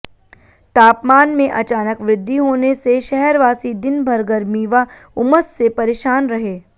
तापमान में अचानक वृद्धि होने से शहरवासी दिन भर गर्मी व उमस से परेशान रहे